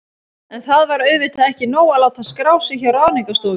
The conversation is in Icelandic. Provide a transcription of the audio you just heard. En það var auðvitað ekki nóg að láta skrá sig hjá Ráðningarstofunni.